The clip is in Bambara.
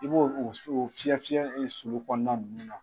I b'olu k'o fiyɛfiyɛ sulu kɔnɔna nunnu na.